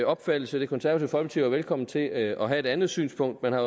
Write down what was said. opfattelse det konservative velkommen til at have et andet synspunkt man har